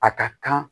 A ka kan